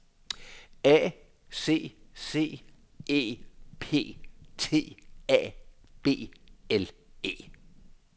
A C C E P T A B L E